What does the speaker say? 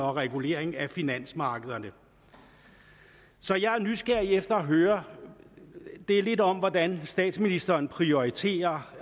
og regulering af finansmarkederne så jeg er nysgerrig efter at høre lidt om hvordan statsministeren prioriterer